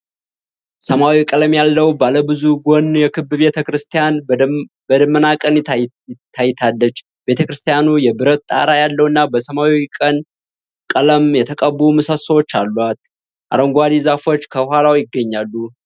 ሰማያዊ ቀለም ያለው ባለብዙ ጎን የክብ ቤተ ክርስቲያን በደመናማ ቀን ታይታለች። ቤተ ክርስቲያኑ የብረት ጣራ ያለውና በሰማያዊና ቀይ ቀለም የተቀቡ ምሰሶዎች አሏት፤ አረንጓዴ ዛፎች ከኋላው ይገኛሉ።